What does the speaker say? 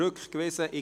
Streichung)